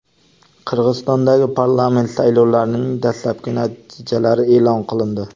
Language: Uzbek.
Qirg‘izistondagi parlament saylovlarining dastlabki natijalari e’lon qilindi.